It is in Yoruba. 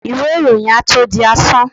iwé iroyín à tó dí asán